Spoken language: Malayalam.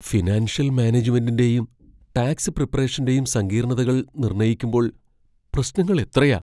ഫിനാൻഷ്യൽ മാനേജുമെന്റിന്റെയും ടാക്സ് പ്രിപ്പറേഷന്റെയും സങ്കീർണ്ണതകൾ നിർണയിക്കുമ്പോൾ പ്രശ്നങ്ങൾ എത്രയാ!